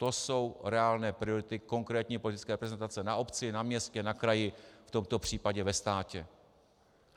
To jsou reálné priority konkrétní politické reprezentaci na obci, na městě, na kraji, v tomto případě ve státě.